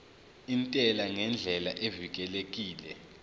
intela ngendlela evikelekile